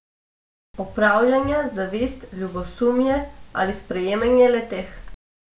Opravljanja, zavist, ljubosumje ali sprejemanje le teh.